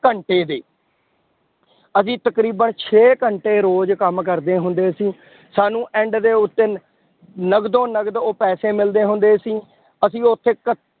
ਘੰਟੇ ਦੇ ਅਸੀਂ ਤਕਰੀਬਨ ਛੇ ਘੰਟੇ ਰੋਜ਼ ਕੰਮ ਕਰਦੇ ਹੁੰਦੇ ਸੀ ਸਾਨੂੰ end ਦੇ ਉੱਤੇ ਨਕਦੋ ਨਕਦ ਉਹ ਪੈਸੇ ਮਿਲਦੇ ਹੁੰਦੇ ਸੀ, ਅਸੀਂ ਉੱਥੇ ਕ